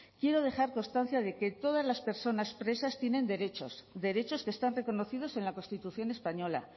quiero dejar constancia de que todas las personas presas tienen derechos derechos que están reconocidos en la constitución española